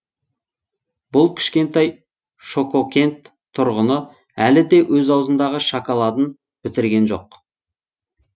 бұл кішкентай шококент тұрғыны әлі де өз аузындағы шоколадын бітірген жоқ